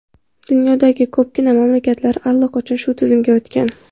Dunyodagi ko‘pgina mamlakatlar allaqachon shu tizimga o‘tgan.